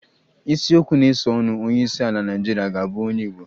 Isiokwu na-esonụ Onyeisiala Naịjirịa ga-abụ onye Igbo